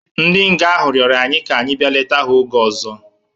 Ndi nga ahụ rirọ anyi ka anyi bia leta ha oge ọzo